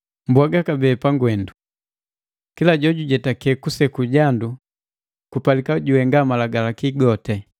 Pwaga kabee pangwendu: Kila jojujetake kuseku jandu kupalika juhenga Malagalaki goti.